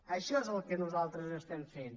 això és el que nosaltres estem fent